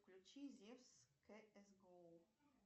включи зевс кс гоу